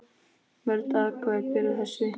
Mörg atvik bera þess vitni.